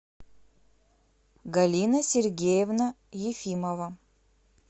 галина сергеевна ефимова